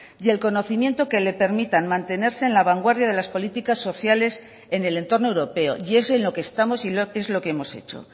y el conocimiento que le permitan mantenerse en la vanguardia de las políticas sociales en el entorno europeo y es en lo que estamos y es lo que hemos hecho